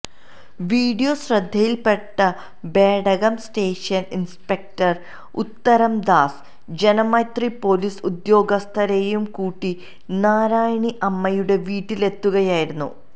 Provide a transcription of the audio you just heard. video ശ്രദ്ധയില് പെട്ട Bedakam station inspector Uthamdas Janamaithri police ഉദ്യോഗസ്ഥരെയും കൂട്ടി നാരായണി അമ്മയുടെ വീട്ടിലെത്തുകയായിരുന്നു